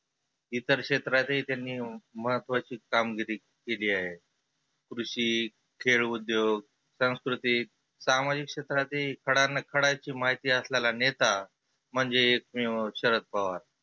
इतर क्षेत्रातही त्यांनी महत्वाची कामगिरी केली आहे. कृषी, खेळ उद्योग, सांस्कृतीक, सामाजीक क्षेत्रातही खडानं खडा माहिती असणारा नेता म्हणजे एकमेव शरद पवार.